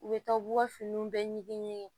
U bɛ taa u b'u ka finiw bɛɛ ɲinigini